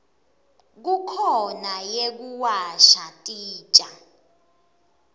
kukhona yekuwasha titja